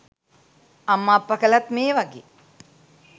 අම්ම අප්ප කළත් මේ වගේ